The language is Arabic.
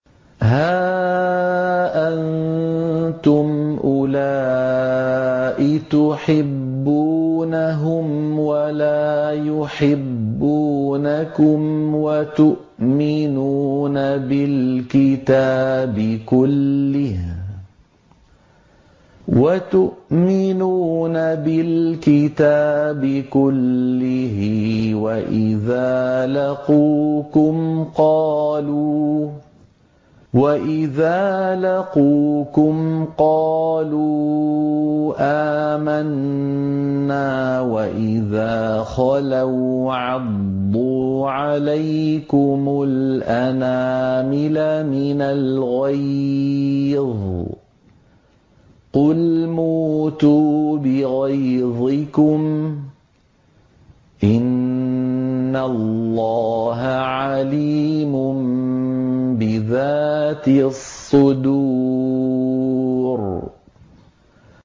هَا أَنتُمْ أُولَاءِ تُحِبُّونَهُمْ وَلَا يُحِبُّونَكُمْ وَتُؤْمِنُونَ بِالْكِتَابِ كُلِّهِ وَإِذَا لَقُوكُمْ قَالُوا آمَنَّا وَإِذَا خَلَوْا عَضُّوا عَلَيْكُمُ الْأَنَامِلَ مِنَ الْغَيْظِ ۚ قُلْ مُوتُوا بِغَيْظِكُمْ ۗ إِنَّ اللَّهَ عَلِيمٌ بِذَاتِ الصُّدُورِ